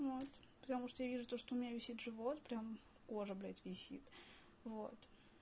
вот потому что я вижу то что у меня висит живот прям кожа блядь висит вот